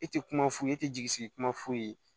E tɛ kuma f'u ye e tɛ jigi sigi kuma f'u ye